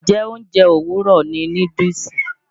Njẹ́ oúnjẹ òwúrọ̀ ni núdúùsù?